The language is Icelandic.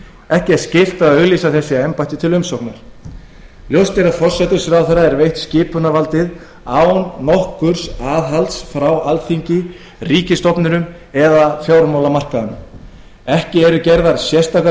ekki er skylt að auglýsa þessi embætti til umsóknar ljóst er að forsætisráðherra er veitt skipunarvaldið án nokkurs aðhalds frá alþingi ríkisstofnunum eða fjármálamarkaðnum hvorki eru gerðar sérstakar